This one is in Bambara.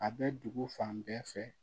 A bɛ dugu fan bɛɛ fɛ